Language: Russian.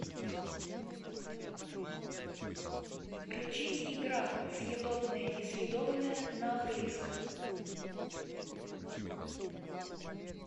включить игра съедобное несъедобное на английском